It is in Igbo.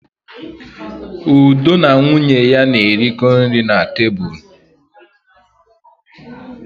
Udo na nwunye ya na-erikọ nri na tebụl.